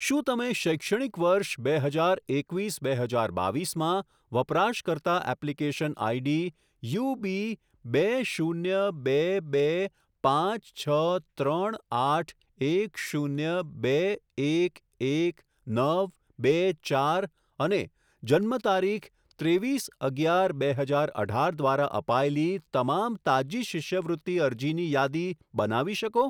શું તમે શૈક્ષણિક વર્ષ બે હજાર એકવીસ બે હજાર બાવીસમાં વપરાશકર્તા એપ્લિકેશન આઇડી યુબી બે શૂન્ય બે બે પાંચ છ ત્રણ આઠ એક શૂન્ય બે એક એક નવ નવ બે ચાર અને જન્મતારીખ ત્રેવીસ અગિયાર બે હજાર અઢાર દ્વારા અપાયેલી તમામ તાજી શિષ્યવૃત્તિ અરજીની યાદી બનાવી શકો?